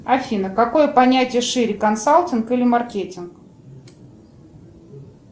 афина какое понятие шире консалтинг или маркетинг